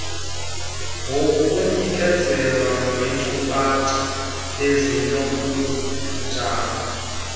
ngokunikezela ngenkcukacha ezinobunjani